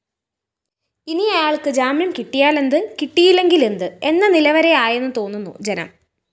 ഇനി അയാള്‍ക്കു ജാമ്യം കിട്ടിയാലെന്ത് കിട്ടിയില്ലെങ്കിലെന്ത് എന്ന നിലവരെയായെന്നുതോന്നുന്നു ജനം